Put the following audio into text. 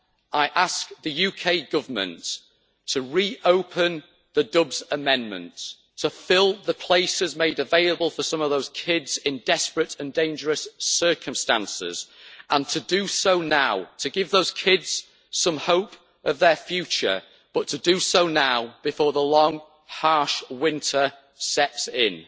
I ask the UK Government to re open the Dubs Amendment, to fill the places made available for some of those kids in desperate and dangerous circumstances and, in order to give those kids some hope for their future, to do so now before the long, harsh winter sets in.